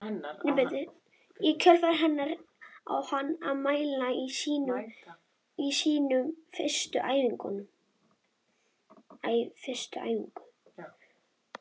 Í kjölfar hennar á hann að mæta á sína fyrstu æfingu.